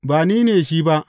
Ba ni ne shi ba.